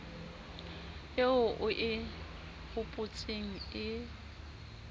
eo o e hopotseng e